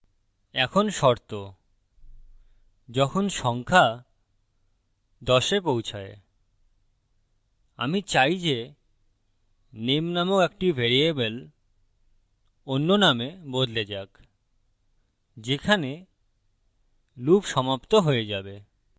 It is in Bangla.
এখন শর্তযখন সংখ্যা 10 a পৌছায় আমি চাই যে নেম নামক একটি ভ্যারিয়েবল অন্য name বদলে যাক যেখানে loop সমাপ্ত হয়ে যাবে